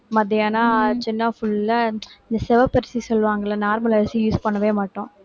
மத்தியானம் ஆச்சுன்னா full ஆ இந்த சிவப்பரிசி சொல்லுவாங்கல்ல normal அரிசி use பண்ணவே மாட்டோம்